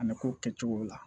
A na ko kɛ cogo la